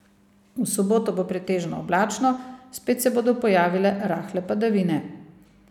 V soboto bo pretežno oblačno, spet se bodo pojavile rahle padavine.